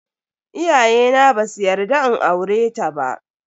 Iyayena basu yarda in aureta ba.